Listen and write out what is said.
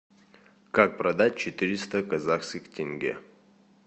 как продать четыреста казахских тенге